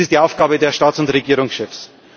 Das ist die Aufgabe der Staats und Regierungschefs.